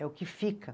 É o que fica.